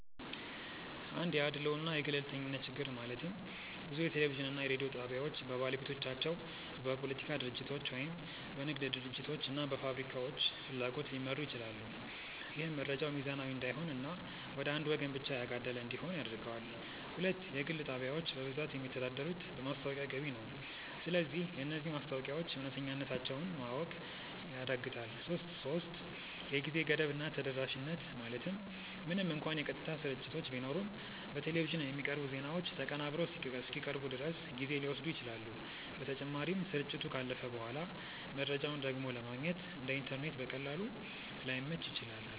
1 የአድልዎ እና የገለልተኝነት ችግር ማለትም ብዙ የቴሌቪዥን እና የሬዲዮ ጣቢያዎች በባለቤቶቻቸው፣ በፖለቲካ ድርጅቶች ወይም በንግድ ድርጅቶች እና ፋብሪካዎች ፍላጎት ሊመሩ ይችላሉ። ይህም መረጃው ሚዛናዊ እንዳይሆን እና ወደ አንዱ ወገን ብቻ ያጋደለ እንዲሆን ያደርገዋል። 2 የግል ጣቢያዎች በብዛት የሚተዳደሩት በማስታወቂያ ገቢ ነው። ስለዚህ የነዚህ ማስታወቂያዎች እውነተኛነታቸውን ማወቅ ያዳግታል 3የጊዜ ገደብ እና ተደራሽነት ማለትም ምንም እንኳን የቀጥታ ስርጭቶች ቢኖሩም፣ በቴሌቪዥን የሚቀርቡ ዜናዎች ተቀናብረው እስኪቀርቡ ድረስ ጊዜ ሊወስዱ ይችላሉ። በተጨማሪም፣ ስርጭቱ ካለፈ በኋላ መረጃውን ደግሞ ለማግኘት (እንደ ኢንተርኔት በቀላሉ) ላይመች ይችላል።